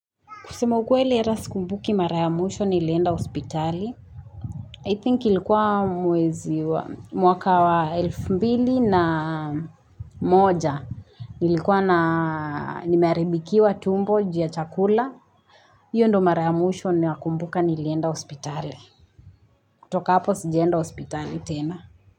Kusema ukweli hata sikumbuki mara ya mwisho nilienda hospitali. I think ilikuwa mwezi wa mwaka wa elfu mbili na moja. Ilikuwa na nimearibikiwa tumbo ju ya chakula. Iyo ndo mara ya mwsho ninayokumbuka nilienda hospitali. Toka hapo sijaenda hospitali tena.